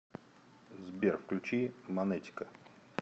сбер включи манетика